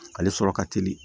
Ale sɔrɔ ka teli